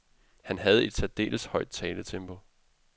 Han havde et særdeles højt taletempo.